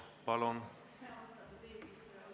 Palun!